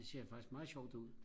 det ser faktisk meget sjovt ud